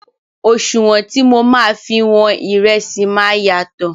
Òṣùwọ̀n tí mọ máa fi wọn ìrẹsì máa yàtọ̀.